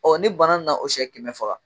ni bana nana o sɛ kɛmɛ faga